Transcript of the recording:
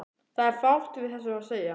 Það er fátt við þessu að segja.